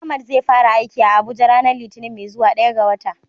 Ahmad zai fara aiki a Abuja ranar litinin mai zuwa, daya ga wata.